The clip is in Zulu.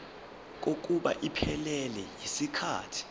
kokuba iphelele yisikhathi